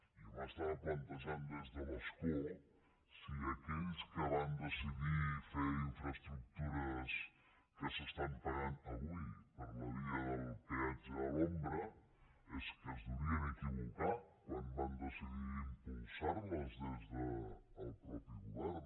i jo m’estava plantejant des de l’escó si aquells que van decidir fer infraestructures que s’estan pagant avui per la via del peatge a l’ombra és que es devien equivocar quan van decidir impulsar les des del mateix govern